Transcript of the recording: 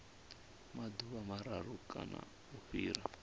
maḓuvha mararu kana u fhira